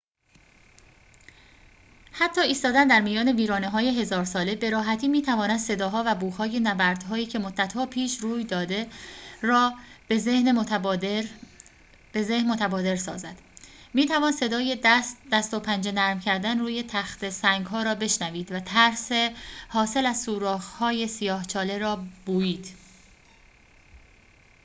حتی ایستادن در میان ویرانه‌های هزار ساله به‌راحتی می‌تواند صداها و بوهای نبردهایی که مدتها پیش روی داده را به ذهن متبادر سازد می‌توان صدای دست و پنجه نرم کردن روی تخته سنگ‌ها را بشنوید و ترس حاصل از سوراخ‌های سیاه چاله را بویید